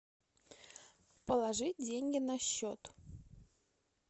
положить деньги на счет